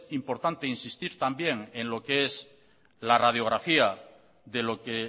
importante insistir también en lo que es la radiografía de lo que